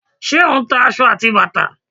Ṣé o ń ta aṣọ àti bàtà?